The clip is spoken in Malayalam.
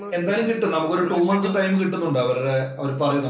എന്തായാലും കിട്ടും നമുക്കൊരു two month time കിട്ടുന്നുണ്ട് അവരുടെ. അവര്‍ പറയും നമ്മളുടെ